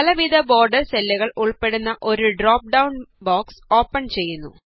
പലവിധ ബോര്ഡര് സ്റ്റൈലുകള് ഉള്പ്പെടുന്ന ഒരു ഡ്രോപ് ഡൌണ് ബോക്സ് ഓപ്പണ് ചെയ്യുന്നു